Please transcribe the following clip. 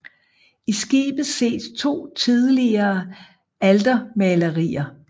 I skibet ses to tidligere altermalerier